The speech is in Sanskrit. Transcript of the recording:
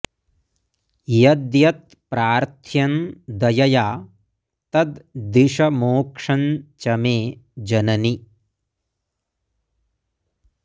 यद्यत् प्रार्थ्यं दयया तद् दिश मोक्षं च मे जननि